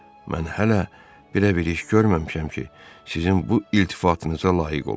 Mən hələ belə bir iş görməmişəm ki, sizin bu iltifatınıza layiq olum.